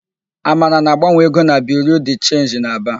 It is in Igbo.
Amara na-agbanwe ego na Biriu de Chenji dị n'Aba.